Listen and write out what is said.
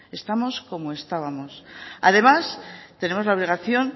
estamos como estábamos además tenemos la obligación